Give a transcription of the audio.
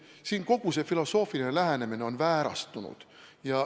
Siin on kogu filosoofiline lähenemine väärastunud.